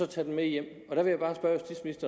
tage den med hjem